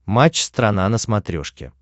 матч страна на смотрешке